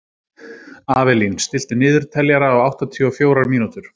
Avelín, stilltu niðurteljara á áttatíu og fjórar mínútur.